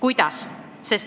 Miks?